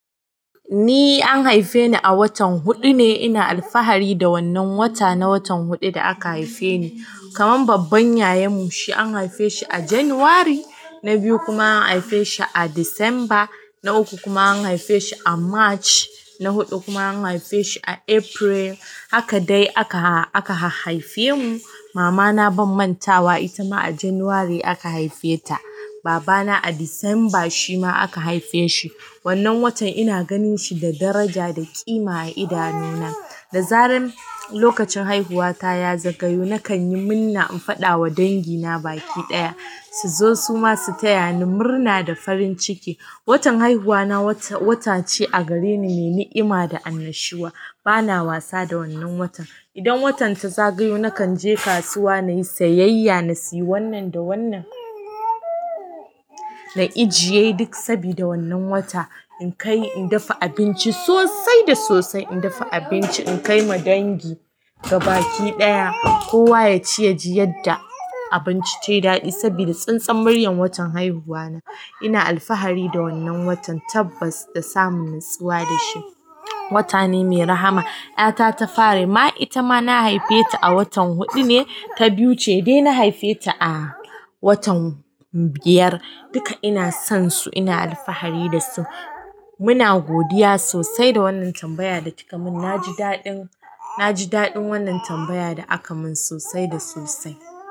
Ni an haife ni a watan huɗu ne. Ina alfahari da wannan wata, na watan huɗu da aka haife ni. Kaman babban ƴaƴanmu, shi an haife shi a Janairu. Na biyu kuma an haife shi a Disamba. Na uku kuma an haife shi a March. Na huɗu kuma an haife shi a April. Haka dai aka, aka haife mu. Mama na bam mantawa, ita ma a Janairu aka haife ta. Baba na a Disamba shi ma aka haife shi. Wannan watan ina gani shi da daraja da ƙima a idanuna. Da zaran lokacin haihuwa ta ya zagayo, nakan yi minna in faɗa wa dangi na baki ɗaya. Su zo su ma su taya ni murna da farin ciki. Watan haihuwa na wata, watace a gare ni me ni'ima da annashuwa. Bana wasa da wannan watan. Idan watan ta zagayo, nakan je kasuwa na yi sayayya, na sayi wannan da wannan, na ijiye duk sabida wannan wata. In kai in dafa abinci sosai da sosai, in dafa abinci inkai ma dangi ga baki ɗaya. Kowa ya ci yaji yadda abinci tayi daɗi saboda tsintsan muryar watan haihuwa na. Ina alfahari da wannan watan, tabbas da samun nutsuwa da shi. Wata ne mai rahama. Ƴata ta fari ma, ita ma na haife ta a watan huɗu ne, ta biyu ce dai na haife ta a watan biyar. Duka ina son su, ina alfahari da su. Muna godiya sosai da wannan tambaya da kika mun. Na ji daɗin, na ji daɗin wannan tambaya da aka mun sosai da sosai.